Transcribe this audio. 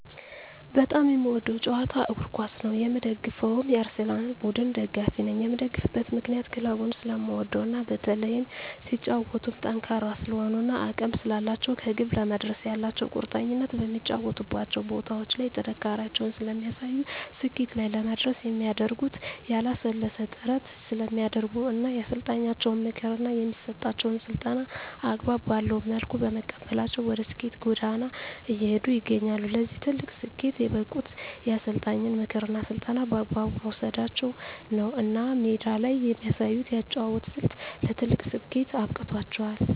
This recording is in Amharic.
በጣም የምወደዉ ጨዋታ እግርኳስ ነዉ የምደግፈዉም የአርሰላን ቡድን ደጋፊ ነኝ የምደግፍበት ምክንያት ክለቡን ስለምወደዉ እና በተለይም ሲጫወቱም ጠንካራ ስለሆኑ እና አቅም ስላላቸዉ ከግብ ለመድረስ ያላቸዉ ቁርጠኝነት በሚጫወቱባቸዉ ቦታዎች ላይ ጥንካሬያቸውን ስለሚያሳዩ ስኬት ላይ ለመድረስ የሚያደርጉት ያላለሰለሰ ጥረት ስለሚያደርጉ እና የአሰልጣኛቸዉን ምክር እና የሚሰጣቸዉን ስልጠና አግባብ ባለዉ መልኩ በመቀበላቸዉ ወደ ስኬት ጎዳና እየሄዱ ይገኛሉ ለዚህ ትልቅ ስኬት የበቁት የአሰልጣኝን ምክርና ስልጠና በአግባቡ መዉሰዳቸዉ ነዉ እና ሜዳ ላይ የሚያሳዩት የአጨዋወት ስልት ለትልቅ ስኬት አብቅቷቸዋል